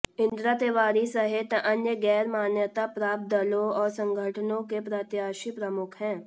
इंदिरा तिवारी सहित अन्य गैर मान्यता प्राप्त दलों और संगठनों के प्रत्याशी प्रमुख हैं